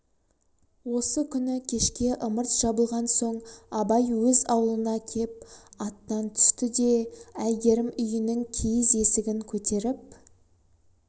осы күні кешке ымырт жабылған соң абай өз аулына кеп аттан түсті де әйгерім үйінің киіз есігін көтеріп